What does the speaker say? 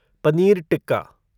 paneer tikka